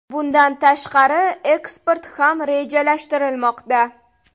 Bundan tashqari eksport ham rejalashtirilmoqda.